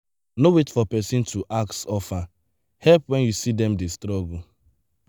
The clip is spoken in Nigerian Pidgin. no wait for person to ask offer help when you see them dey struggle.